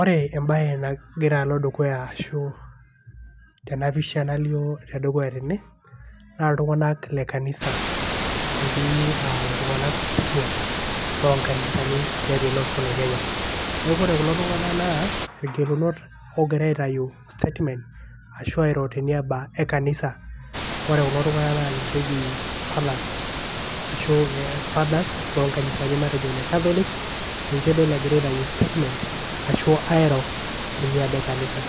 Ore embae nagira alo dukuya ashu tena pisha nalio tedukuya tene naa iltunganak le kanisa . etii aa iltunganak kituaak loonkanisani tiatua ele osho le Kenya. niaku ore kuo tunganak naa irgelunot ogira aitayu statement ashu airo teniaba e kanisa. ore kulo tunganak naa ninche eji fathers ashu e fathers loo nkanisani matejo ine catholic ninche adol egira aitayu statements ashu airo teniaba e kanisa